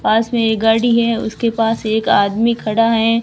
पास में एक गाड़ी है उसके पास एक आदमी खड़ा है।